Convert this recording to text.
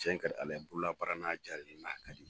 Cɛn ka di Ala ye bolola baara n'a jalen n'a ka di